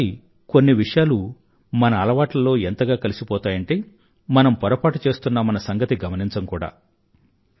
ఒకోసారి కొన్ని విషయాలు మన అలవాట్లలో ఎంతగా కలిసిపోతాయంటే మనం పొరపాటు చేస్తున్నామన్న సంగతి మనం గమనించం కూడా